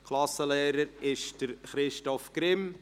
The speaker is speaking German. Klassenlehrer ist Christoph Grimm.